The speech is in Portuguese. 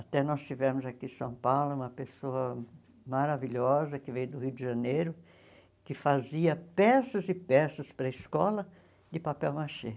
Até nós tivemos aqui em São Paulo uma pessoa maravilhosa, que veio do Rio de Janeiro, que fazia peças e peças para a escola de papel machê.